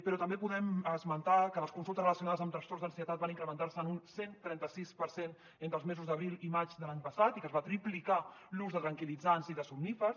però també podem esmentar que les consultes relacionades amb trastorns d’ansietat van incrementar se en un cent i trenta sis per cent entre els mesos d’abril i maig de l’any passat i que es va triplicar l’ús de tranquil·litzants i de somnífers